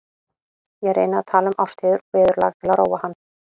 Ég reyni að tala um árstíðir og veðurlag til að róa hann.